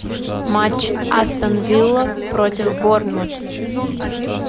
матч астон вилла против борнмут